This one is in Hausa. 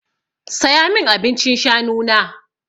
Saya min abincin shanu na!